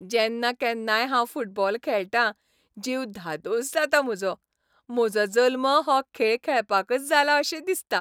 जेन्ना केन्नाय हांव फुटबॉल खेळटां, जीव धादोस जाता म्हजो. म्हजो जल्म हो खेळ खेळपाकच जाला अशें दिसता.